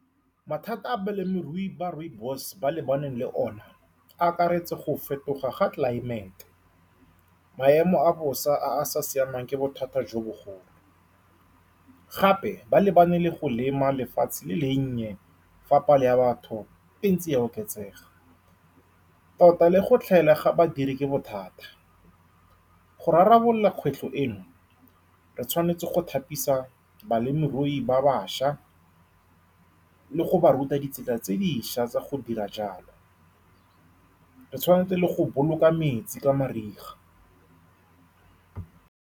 Mathata a balemirui ba rooibos-e ba lebaneng le one a akaretsa go fetoga ga tlelaemete. Maemo a bosa a a sa siamang ke bothata jo bogolo. Gape, ba lebane le go lema lefatshe le le nnye fa palo ya batho e ntse e oketsega, tota le go tlhaela ga badiri ke bothata. Go rarabolola kgwetlho eno, re tshwanetse go thapisa balemirui ba bašwa le go ba ruta ditsela tse dišwa tsa go dira jalo. Re tshwanetse le go boloka metsi ka mariga.